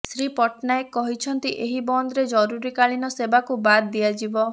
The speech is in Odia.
ଶ୍ରୀ ପଟ୍ଟନାୟକ କହିଛନ୍ତି ଏହି ବନ୍ଦରେ ଜରୁରୀକାଳୀନ ସେବାକୁ ବାଦ୍ ଦିଆଯିବ